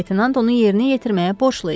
Leytenant onu yerinə yetirməyə borclu idi.